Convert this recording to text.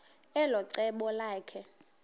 elo cebo lakhe